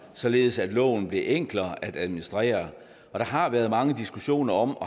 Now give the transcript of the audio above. således at loven blev enklere at administrere der har været mange diskussioner om